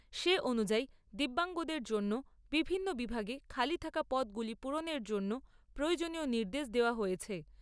সে অনুযায়ী দিব্যাংগদের জন্য বিভিন্ন বিভাগে খালি থাকা পদগুলি পূরণের জন্য প্রয়োজনীয় নির্দেশ দেওয়া হয়েছে।